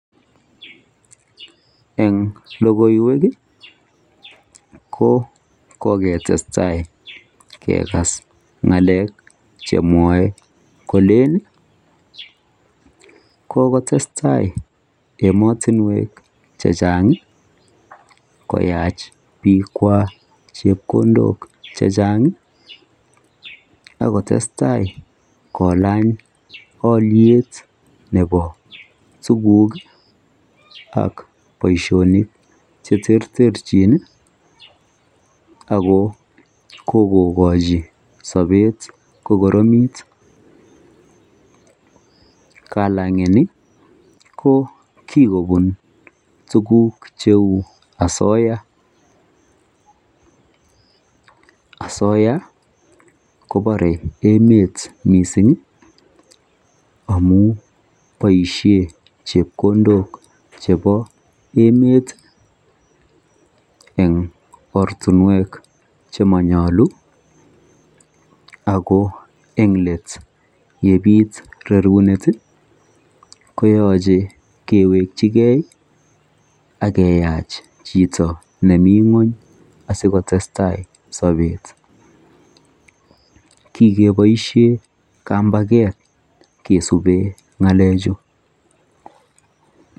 en logoiyweek iih ko kogetestai kegaas ngaleek chemwoe koleen iih kogotestai emotinweek chechang iih koyaach biik kwaak chepkondook chechanhg iih ak kotestai kolany olyeet nebo tuguk ak boishonik cheterterchin iih ago kogogochi sobeet kogoromiit, kalangeni ko kigobun tuguuk cheuu asoya, asoya kobore emeet mising iih amuun boishen chepkondook chebo emeet en ortinweek chemonyolu ago en leet yebiit rorunet iih koyoche kewechi gee ak keyaach chito nemii ngwony asikotestai sobeet, {poause} kigeboishen kambageet kesuben ngalechu.